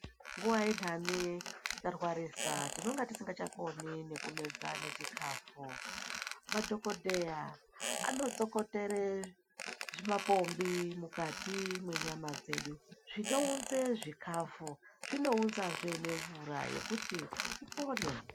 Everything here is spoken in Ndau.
Nguva yendani tarwarisa tinonga tisingachakoni nekumedza nechikafu. Madhogodheya anotsokotere zvimapombi mukati mwenyama dzedu zvinounze zvikafu zvinounzazve nemvura yokuti upone.